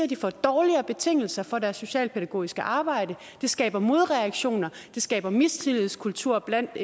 de får dårligere betingelser for deres socialpædagogiske arbejde det skaber modreaktioner det skaber en mistillidskultur blandt